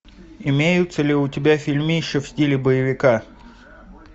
имеются ли у тебя фильмища в стиле боевика